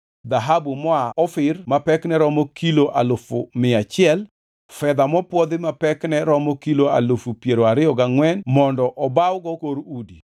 dhahabu moa Ofir ma pekne romo kilo alufu mia achiel, fedha mopwodhi ma pekne romo kilo alufu piero ariyo gangʼwen mondo obawgo kor udi,